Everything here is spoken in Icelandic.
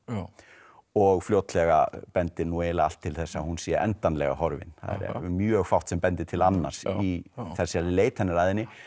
og fljótlega bendir nú eiginlega allt til þess að hún sé endanlega horfin það er mjög fátt sem bendir til annars í þessari leit hennar að henni